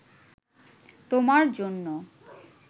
তোমার জন্য